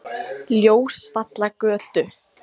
Ljósvallagötu